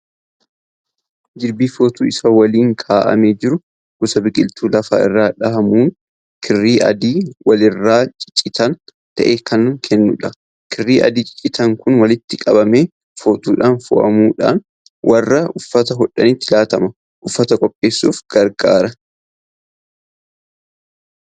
Jirbii footuu isaa waliin kaa'amee jiru. Gosa biqiltuu lafa irra dhaabamuun kirrii adii walirraa ciccitaa ta'e kan kennudha. Kirrii adii ciccitaan kun walitti qabamee footuudhaan fo'amuudhaan warra uffata hodhanitti laatamee uffata qopheessuuf gargaara.